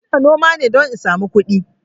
Ina noma ne don in sami kudi